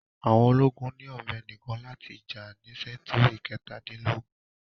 Àwọn ológun ni ọ̀bẹ nìkan láti jà ní sẹ́ńtúrì kẹ̀tadínlógún.